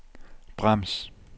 brems